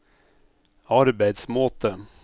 arbeidsmåte